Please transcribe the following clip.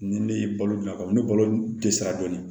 Ni ne ye balo bila ka na ni balo dɛsɛra dɔɔni